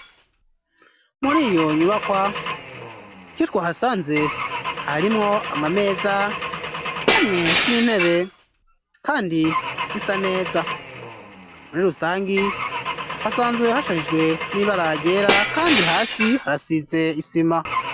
Mur'iyo nyubakwa, ico twahasanze harimwo amameza hamwe n'intebe kandi zisaneza, muri rusangi hasanzwe hasharijwe n'ibara ryera kandi hasi harasize isima.